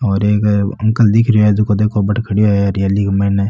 और एक अंकल दिख रहे है झको देखो बठ खड़ो है हरियाली के माइन।